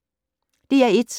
DR1